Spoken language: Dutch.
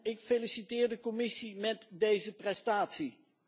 Ik feliciteer de Commissie met deze prestatie.